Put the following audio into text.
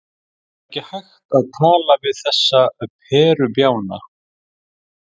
Það er ekki hægt að tala við þessa perubjána.